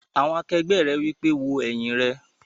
Àwọn akẹgbẹ́ rẹ̀ wí pé "wo ẹ̀yìn rẹ!"